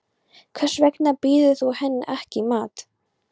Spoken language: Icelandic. Hvers vegna býður þú henni ekki í mat.